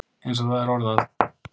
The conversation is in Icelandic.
Eins og það er orðað.